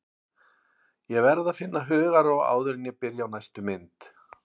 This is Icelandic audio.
Ég verð að finna hugarró áður en ég byrja á næstu mynd.